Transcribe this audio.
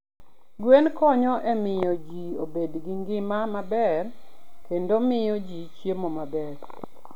Gwen konyo e miyo ji obed gi ngima maber, kendo miyo ji chiemo maber.